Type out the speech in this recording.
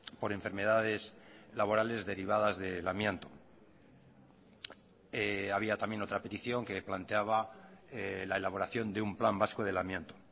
por enfermedades laborales derivadas del amianto había también otra petición que planteaba la elaboración de un plan vasco del amianto